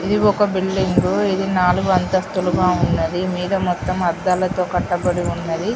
ఇది ఒక బిల్డింగ్ ఇది నాల్గు అంతస్తులుగా ఉన్నది మీద మొత్తం అద్దాలతో కట్టబడి ఉన్నది .